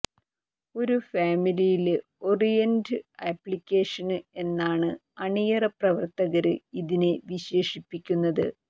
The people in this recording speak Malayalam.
ഒരു ഫാമില് ഓറിയന്റഡ് അപ്ലിക്കേഷന് എന്നാണ് അണിയറ പ്രവര്ത്തകര് ഇതിനെ വിശേഷിപ്പിക്കുന്നത്